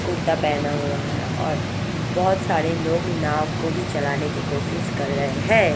कुर्ता पहना हुआ है और बोत सारे लोग नाव को भी चलाने कि कोसिस कर रहे है ।